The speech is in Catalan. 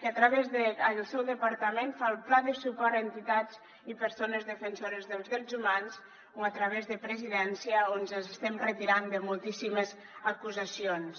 que a través del seu departament fa el pla de suport a entitats i persones defensores dels drets humans o a través de presidència on ens estem retirant de moltíssimes acusacions